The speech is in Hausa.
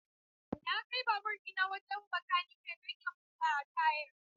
Na kai babur ɗina wajen bakanike don ya buga tayar.